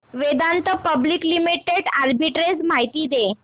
Vedanta public limited arbitrage माहिती दे